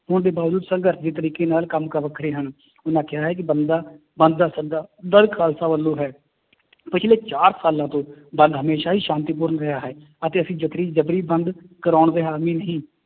ਹੋਣ ਦੇ ਬਾਵਜੂਦ ਸੰਘਰਸ਼ ਦੇ ਤਰੀਕੇ ਨਾਲ ਕੰਮ ਕਾਰ ਵੱਖਰੇ ਹਨ ਉਹਨਾਂ ਕਿਹਾ ਹੈ ਕਿ ਬੰਦਾ ਬੰਦ ਦਾ ਸੱਦਾ ਦਲ ਖਾਲਸਾ ਵੱਲੋਂ ਹੈ ਪਿੱਛਲੇ ਚਾਰ ਸਾਲਾਂ ਤੋਂ ਬੰਦ ਹਮੇਸ਼ਾ ਹੀ ਸ਼ਾਂਤੀਪੂਰਨ ਰਿਹਾ ਹੈ, ਅਤੇ ਅਸੀਂ ਜ਼ਬਰੀ ਬੰਦ ਕਰਾਉਣ ਦੇ ਹਾਮੀ ਨਹੀਂ